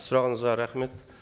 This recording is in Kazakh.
сұрағыңызға рахмет